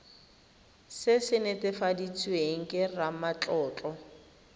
se se netefaditsweng ke ramatlotlo